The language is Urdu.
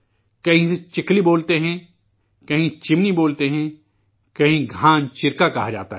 کہیں اسے چکلی بولتے ہیں، کہیں چمنی بولتے ہیں، کہیں گھان چرکا کہا جاتا ہے